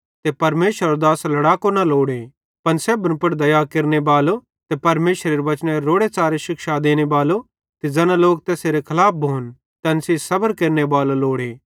ते परमेशरेरो दास लड़ाको न लोड़े पन सेब्भन दया केरनेबालो ते परमेशरेरे वचनेरी रोड़े च़ारे शिक्षा देनेबालो ते ज़ैना लोक तैसेरे खलाफ भोन तैन सेइं सबर केरनेबालो लोड़े